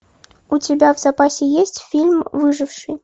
у тебя в запасе есть фильм выживший